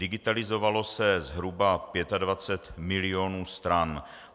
Digitalizovalo se zhruba 25 milionů stran.